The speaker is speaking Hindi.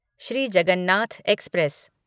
श्री जगन्नाथ एक्सप्रेस